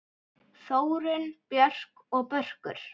Þórunn Björk og Börkur.